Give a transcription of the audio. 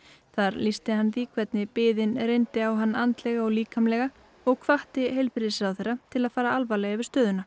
þar lýsti hann því hvernig biðin reyndi á hann andlega og líkamlega og hvatti heilbrigðisráðherra til að fara alvarlega yfir stöðuna